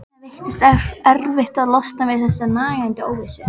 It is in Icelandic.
Svenna veitist erfitt að losna við þessa nagandi óvissu.